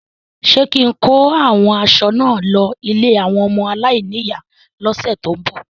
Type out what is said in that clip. Ṣé kín-in kó àwọn aṣọ náà lọ ilé àwọn ọmọ aláìníyàá lọ́sẹ ti n bọ?